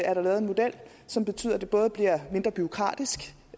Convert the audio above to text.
er der lavet en model som betyder at det både bliver mindre bureaukratisk